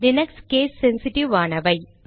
Linux case sensitive ஆனவை